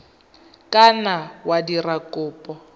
ka nna wa dira kopo